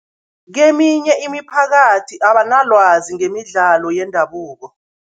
Keminye imiphakathi abanalwazi ngemidlalo yendabuko.